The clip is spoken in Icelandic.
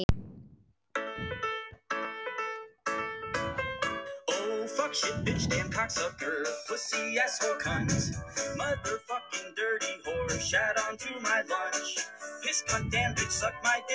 Fimm manna áhöfn sakaði ekki.